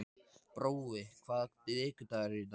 Brói, hvaða vikudagur er í dag?